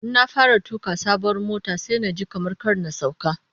Ina fara tuka sabuwar motar sai naji kamar kar na sauka